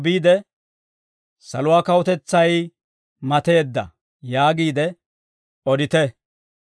biide, ‹Saluwaa kawutetsay mateedda› yaagiide odite.